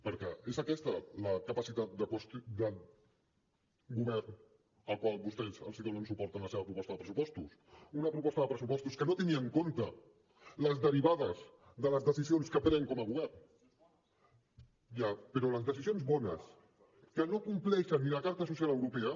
perquè és aquesta la capacitat del govern al qual vostès donen suport en la seva proposta de pressupostos una proposta de pressupostos que no té ni en compte les derivades de les decisions que pren com a govern ja però les decisions bones que no compleixen ni la carta social europea